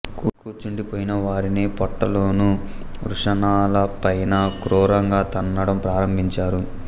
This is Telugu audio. కూర్చుండి పోయిన వారిని పొట్టలోనూ వృషణాల పైనా క్రూరంగా తన్నడం ప్రారంభించారు